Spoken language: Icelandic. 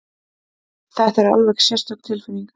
Þetta er alveg sérstök tilfinning!